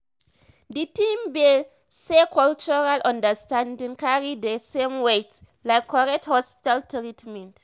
d thing be saycultural understanding carry di same weight like correct hospital treatment